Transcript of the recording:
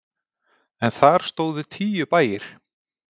En þar stóðu tíu bæir.